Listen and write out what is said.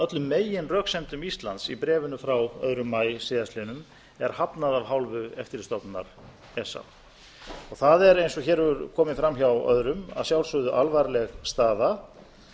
öllum meginröksemdum íslands í bréfinu frá öðrum maí síðastliðinn er hafnað af hálfu eftirlitsstofnunarinnar esa eins og hér hefur komið fram hjá öðrum er þetta að sjálfsögðu alvarleg staða